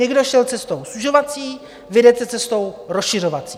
Někdo šel cestou zužovací, vy jdete cestou rozšiřovací.